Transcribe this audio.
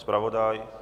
Zpravodaj?